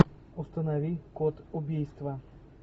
установи код убийства